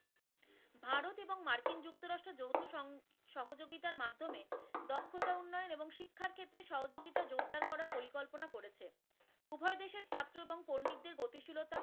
উভয়ক্ষত্রে সহযোগিতা জোরদার করার পরিকল্পনা করেছে, উভয় দেশের ছাত্র এবং পণ্ডিতদের গতিশীলতা।